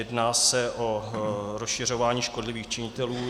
Jedná se o rozšiřování škodlivých činitelů.